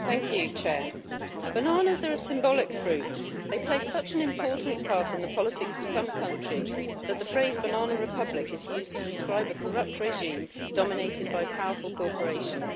Mr President, bananas are symbolic fruit. They play such an important part in the politics of some countries that the phrase banana republic' is used to describe a corrupt regime dominated by powerful corporations.